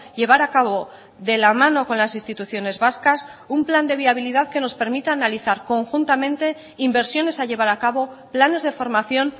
llevar a cabo de la mano con las instituciones vascas un plan de viabilidad que nos permita analizar conjuntamente inversiones a llevar a cabo planes de formación